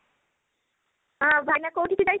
ଭାଇନା କୋଉଠି କି ଯାଇ